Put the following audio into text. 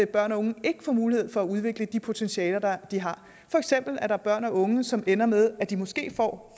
børn og unge ikke får mulighed for at udvikle de potentialer de har for eksempel er der børn og unge som ender med at de måske får